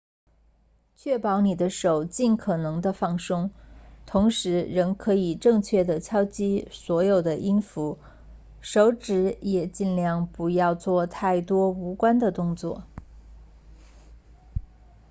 确保你的手尽可能地放松同时仍可以正确地敲击所有的音符手指也尽量不要做太多无关的动作